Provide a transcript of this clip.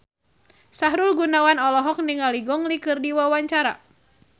Sahrul Gunawan olohok ningali Gong Li keur diwawancara